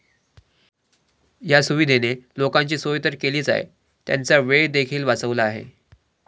या सुविधेने लोकांची सोय तर केलीच आहे, त्यांचा वेळ देखील वाचवला आहे.